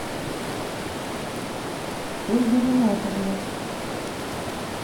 ольга ринатовна